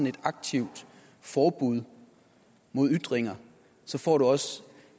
et aktivt forbud mod ytringer får du også